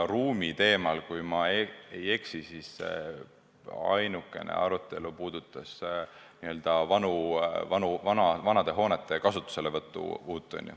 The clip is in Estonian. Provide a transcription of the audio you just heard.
Ruumiteemal, kui ma ei eksi, ainukene arutelu puudutas vanade hoonete kasutuselevõttu.